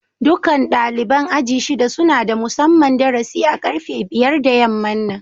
Dukan dalibain aji'n shida suna da musamman darasi a karfe biyar da yaman nan.